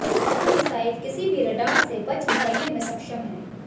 यह मिसाइल किसी भी रडार से बच निकलने में सक्षम है